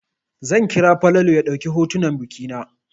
Zan kira Falalu ya ɗauka hotunan biki na.